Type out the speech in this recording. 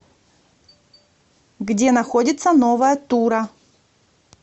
где находится новая тура